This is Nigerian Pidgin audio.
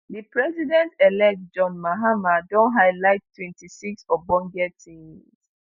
di president-elect john mahama don highlight 26 ogbonge tins